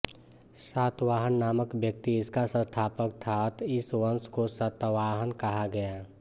सातवाहन नामक व्यक्ति इसका संस्थापक था अत इस वंश को सातवाहन कहा गया